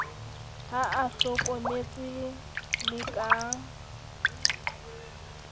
ha a hlokomelwe le ka